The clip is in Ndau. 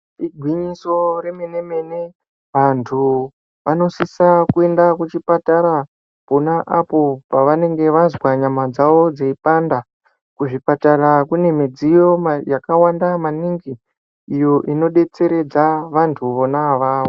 Igwinyiso remene mene, antu vanosisa kuenda kuchipatara pona apo pavanenge vazwa nyama dzavo ndeipanda. Kuzvipatara kune midziyo yakawanda maningi iyo inodetseredza vantu vona avavo.